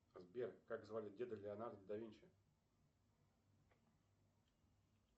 сбер как звали деда леонардо давинчи